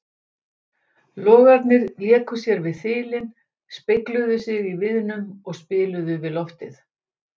Logarnir léku sér við þilin, spegluðu sig í viðnum og spiluðu við loftið.